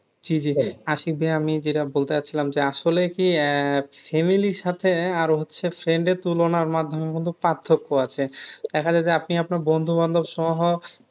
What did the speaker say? জি জি আশিক ভাইয়া আমি যেটা বলতে চাচ্ছিলাম যে আসলে কি আহ family এর সাথে আর হচ্ছে friend এর তুলনার মাধ্যমে কিন্তু পার্থক্য আছে দেখা যায় যে আপনি আপনার বন্ধুবান্ধব সহ